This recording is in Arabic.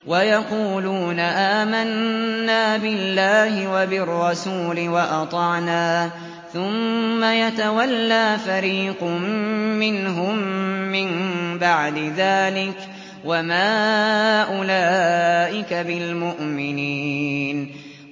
وَيَقُولُونَ آمَنَّا بِاللَّهِ وَبِالرَّسُولِ وَأَطَعْنَا ثُمَّ يَتَوَلَّىٰ فَرِيقٌ مِّنْهُم مِّن بَعْدِ ذَٰلِكَ ۚ وَمَا أُولَٰئِكَ بِالْمُؤْمِنِينَ